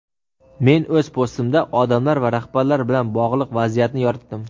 Men o‘z postimda odamlar va rahbarlar bilan bog‘liq vaziyatni yoritdim.